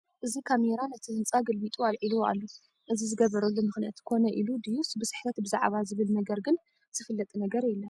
እዚ ካሜራ ነቲ ህንፃ ገልቢጡ ኣልዒልዎ ኣሎ፡፡ እዚ ዝገበረሉ ምኽንያት ኮነ ኢሉ ድዩስ ብስሕተት ብዛዕባ ዝብል ነገር ግን ዝፍለጥ ነገር የለን፡፡